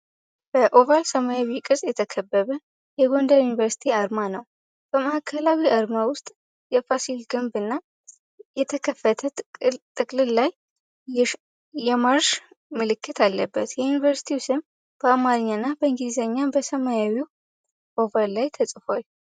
በኦቫል ሰማያዊ ቅርጽ የተከበበ የጎንደር ዩኒቨርሲቲ አርማ ነው። በማዕከላዊው አርማ ውስጥ የፋሲል ግንብ እና የተከፈተ ጥቅልል ላይ የማርሽ ምልክት አለበት። የዩኒቨርሲቲው ስም በአማርኛ እና በእንግሊዝኛ በሰማያዊው ኦቫል ላይ ተጽፏል።